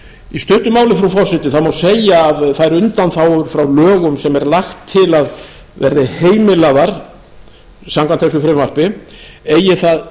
í stuttu máli frú forseti má segja að þær undanþágur frá lögum sem er lagt til að verði heimilaðar samkvæmt þessu frumvarpi eigi það